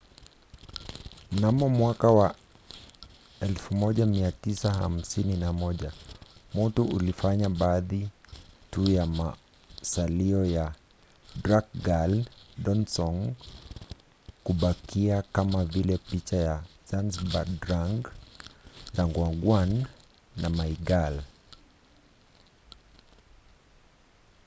mnamo 1951 moto ulifanya baadhi tu ya masalio ya drukgyal dzong kubakia kama vile picha ya zhabdrung ngawang namgyal